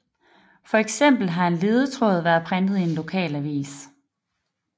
For eksempel har en ledetråd været printet i en lokalavis